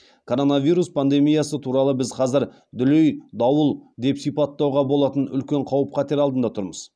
коронавирус пандемиясы туралы біз қазір дүлей дауыл деп сипаттауға болатын үлкен қауіп қатер алдында тұрмыз